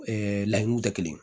laɲiniw tɛ kelen ye